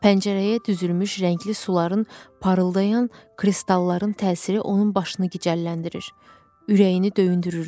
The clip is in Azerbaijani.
Pəncərəyə düzülmüş rəngli suların parıldayan kristallarının təsiri onun başını gicəlləndirir, ürəyini döyündürürdü.